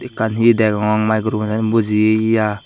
ekkan hi degong maicropuner bojeye ya.